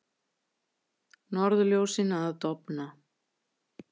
Norðurljósin að dofna